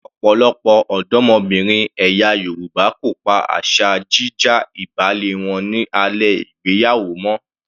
Ọ̀pọ̀lọpọ̀ ọ̀dọ́mọbìnrin ẹ̀yà Yorùbá kò pa asa jí já ìbálé wọn ní alẹ́ ìgbéyàwó mọ́.